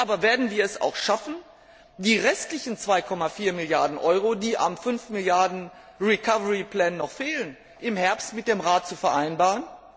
Aber werden wir es auch schaffen, die restlichen 2,4 Milliarden EUR, die am 5 Milliarden Recovery Plan noch fehlen, im Herbst mit dem Rat zu vereinbaren?